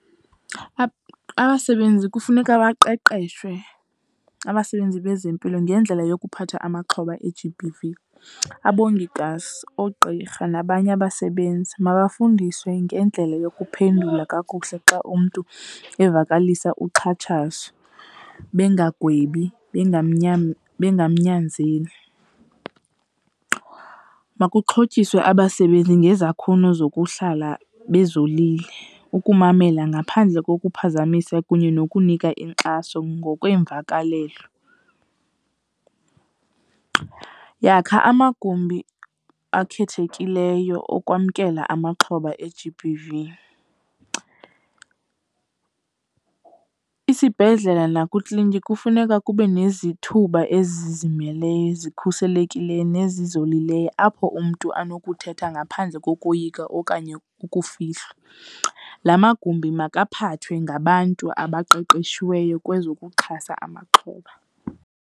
Abasebenzi kufuneka baqeqeshwe, abasebenzi bezempilo, ngendlela yokuphatha amaxhoba e-G_B_V. Abongikazi, oogqirha nabanye abasebenzi mabafundiswe ngendlela yokuphendula kakuhle xa umntu evakalisa uxhatshazo, bengagwebi, bengamnyanzeli. Makuxhotyiswe abasebenzi ngezakhono zokuhlala bezolile, ukumamela ngaphandle kokuphazamisa kunye nokunika inkxaso ngokweemvakalelo. Yakha amagumbi akhethekileyo okwamkelwa amaxhoba e-G_B_V. Isibhedlele nakwiikliniki kufuneka kube nezithuba ezizimeleyo, ezikhuselekileyo nezolileyo apho umntu anokuthetha ngaphandle kokoyika okanye ukufihlwa. La magumbi makaphathwe ngabantu abaqeqeshiweyo kwezokuxhasa amaxhoba.